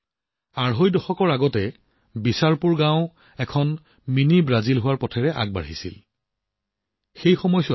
বন্ধুসকল বিছাৰপুৰ গাঁৱৰ mini Brazil হোৱাৰ যাত্ৰা আৰম্ভ হৈছিল ডেৰদুই দশকৰ আগতে